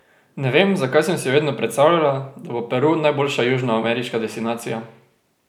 Ne vem, zakaj sem si vedno predstavljala, da bo Peru najboljša južnoameriška destinacija.